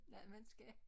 Noget man skal